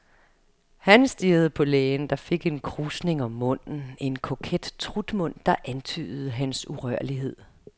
Han stirrede på lægen, der fik en krusning om munden, en koket trutmund, der antydede hans urørlighed.